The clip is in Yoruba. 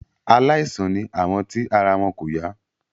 Aláìsàn ni àwọn tí ara wọn kò yá.